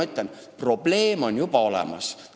Seega, probleem on juba olemas.